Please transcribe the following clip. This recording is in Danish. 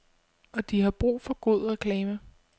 Og de har brug for god reklame.